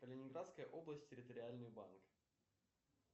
калининградская область территориальный банк